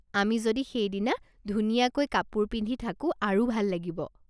আমি যদি সেইদিনা ধুনীয়াকৈ কাপোৰ পিন্ধি থাকো আৰু ভাল লাগিব।